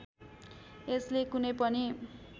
यसले कुनै पनि